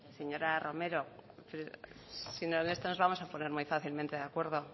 señora romero si en esto nos vamos a poner muy fácilmente de acuerdo